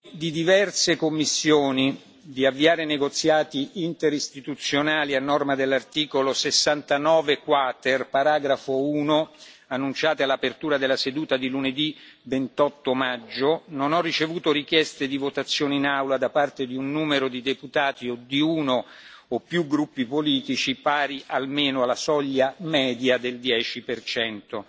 In relazione alle decisioni di diverse commissioni di avviare negoziati interistituzionali a norma dell'articolo 69 quater, paragrafo 1, annunciate in apertura della seduta di lunedì 28 maggio, non ho ricevuto richieste di votazione in Aula da parte di un numero di deputati o di uno o più gruppi politici pari almeno alla soglia media del 10 percento.